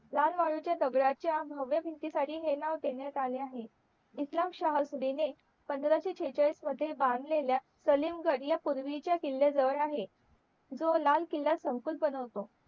लाल वाळूच्या दगडाच्या भव्य भिंती साठी हे नाव देण्यात आले आहे इस्लाम शहा सुदिन ने पंधराशे शेहचाळीश मध्ये बांधलेल्या सलीम गड ह्या पूर्वीच्या किल्ल्या जवळ आहे जो लाल किल्ला संकुल बनवतो